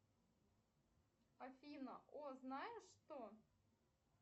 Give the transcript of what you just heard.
афина о знаешь что